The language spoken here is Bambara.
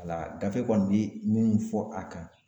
Wala gafe kɔni bɛ minnu fɔ a kan.